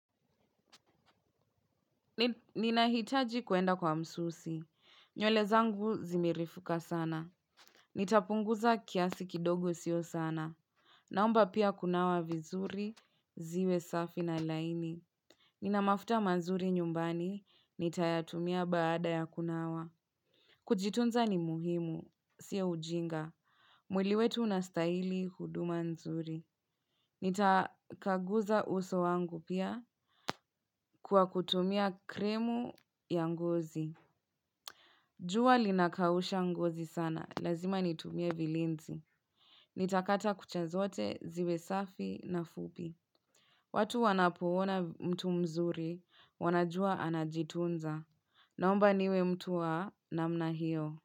Ninahitaji kwenda kwa msusi. Nywele zangu zimerefuka sana. Nitapunguza kiasi kidogo sio sana. Naomba pia kunawa vizuri, ziwesafi na laini. Nina mafuta mazuri nyumbani, nitayatumia baada ya kunawa. Kujitunza ni muhimu, siyo ujinga. Mwili wetu unastahili huduma nzuri. Nitakaguza uso wangu pia kwa kutumia kremu ya ngozi. Jua linakausha ngozi sana, lazima nitumie vilinzi. Nitakata kucha zote, ziwe safi na fupi. Watu wanapoona mtu mzuri wanajua anajitunza. Naomba niwe mtu wa namna hiyo.